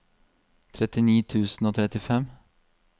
trettini tusen og trettifem